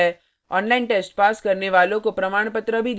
online test pass करने वालों को प्रमाणपत्र भी देते हैं